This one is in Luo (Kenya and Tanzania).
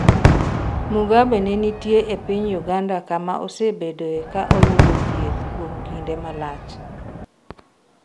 Mugabe ne nitie e piny Uganda kama osebedoe ka oyudo thieth kuom kinde malach